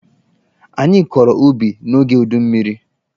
Anyị kọrọ ubi n'oge udummiri.